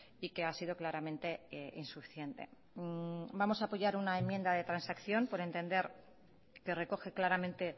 y que ha sido claramente insuficiente vamos a apoyar una enmienda de transacción por entender que recoge claramente